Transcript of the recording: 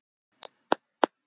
Nú erum við tvö.